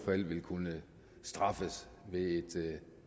vil kunne straffes ved